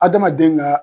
Adamaden ka